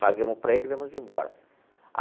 Pagamos para ele e viemos embora.